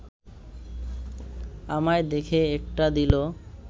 আমায় দেখে একটা দিল